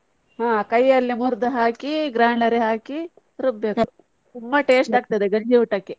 ಹಾ ಕೈಯಲ್ಲೇ ಮುರ್ದು ಹಾಕಿ grinder ಗೆ ಹಾಕಿ ರುಬ್ಬಬೇಕು ತುಂಬಾ taste ಆಗ್ತದೆ ಅದು ಗಂಜಿ ಊಟಕ್ಕೆ.